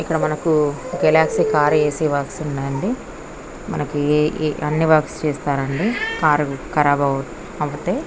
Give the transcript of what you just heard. ఇక్కడ మనకి Galaxy car AC works ఉన్నాయ్ అండి మనకి అన్ని వర్క్స్ చేస్తారండి కార్ ఖరాబ్ అవుతే.